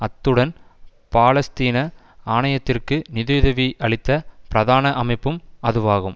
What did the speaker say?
அத்துடன் பாலஸ்தீன ஆணையத்திற்கு நிதியுதவி அளித்த பிரதான அமைப்பும் அதுவாகும்